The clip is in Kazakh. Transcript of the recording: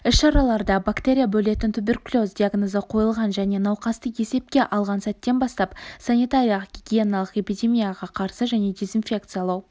іс-шараларда бактерия бөлетін туберкулез диагнозы қойылған және науқасты есепке алған сәттен бастап санитариялық-гигиеналық эпидемияға қарсы және дезинфекциялау